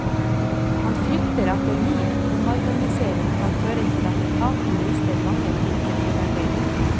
Han frykter at en ny omorganisering kan føre til at etaten mister mange flinke medarbeidere.